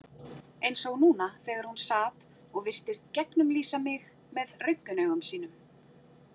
Eins og núna þegar hún sat og virtist gegnumlýsa mig með röntgenaugum sínum.